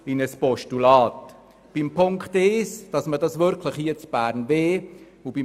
Was Punkt 1 betrifft, wollen wir die SwissSkills wirklich hier in Bern durchführen.